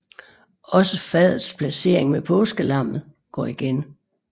Også fadets placering med påskelammet går igen